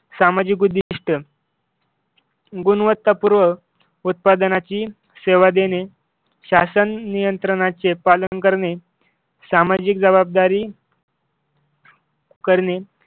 सामाजिक उद्दिष्ट गुणवत्तापूर्वक उत्पादनाची सेवा देणे. शासन नियंत्रणाचे पालन करणे. सामाजिक जबाबदारी करणे